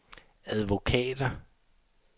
advokater